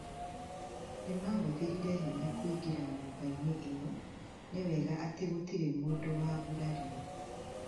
Nĩmahũthĩrire hinya kuingira nyũmba-inĩ iyo, nĩ wega atĩ gũtirĩ mũndũ wagurarire